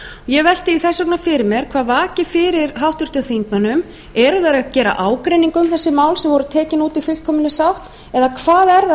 ég velti því þess vegna fyrir mér hvað vakir fyrir háttvirtum þingmönnum eru þeir að gera ágreining af þessi mál sem tekin voru út í fullkominni sátt eða